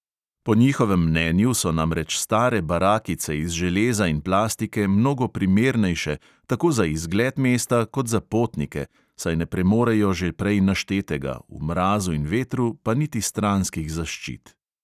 Po njihovem mnenju so namreč stare barakice iz železa in plastike mnogo primernejše tako za izgled mesta kot za potnike, saj ne premorejo že prej naštetega, v mrazu in vetru pa niti stranskih zaščit.